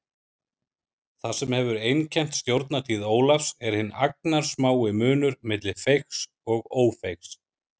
Það sem hefur einkennt stjórnartíð Ólafs er hinn agnarsmái munur milli feigs og ófeigs.